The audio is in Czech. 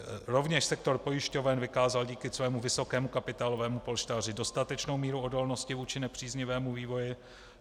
Rovněž sektor pojišťoven vykázal díky svému vysokému kapitálovému polštáři dostatečnou míru odolnosti vůči nepříznivému vývoji.